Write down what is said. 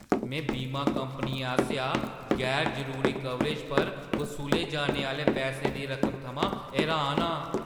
में बीमा कंपनियें आसेआ गैर-जरूरी कवरेज पर वसूले जाने आह्‌ले पैसें दी रकमा थमां हैरान आं।